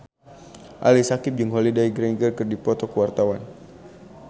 Ali Syakieb jeung Holliday Grainger keur dipoto ku wartawan